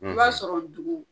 I b'a sɔrɔ dugu